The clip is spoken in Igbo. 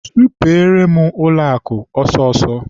Sụpeere m ụlọakụ ọsọọsọ!